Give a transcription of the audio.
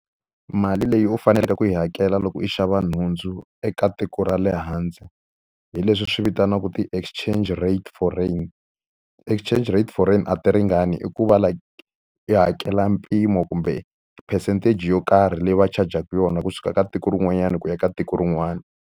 Mali leyi u faneleke ku yi hakela loko u xava nhundzu ka tiko ra le handle hi leswi swi vitaniwaka ti-exchange rate foreign. Exchange rate foreign a ti ringani hikuva like ti hakela mpimo kumbe percentage yo karhi leyi va charge-aka yona kusuka ka tiko rin'wanyana ku ya ka tiko rin'wanyana.